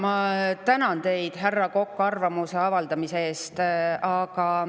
Ma tänan teid, härra Kokk, arvamuse avaldamise eest.